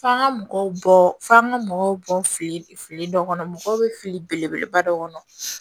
F'an ka mɔgɔw bɔ f'an ka mɔgɔw bɔ fili fili dɔ kɔnɔ mɔgɔw bɛ fili belebeleba dɔ kɔnɔ